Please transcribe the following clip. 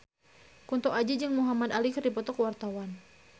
Kunto Aji jeung Muhamad Ali keur dipoto ku wartawan